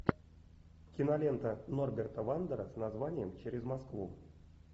кинолента норберта вандера с названием через москву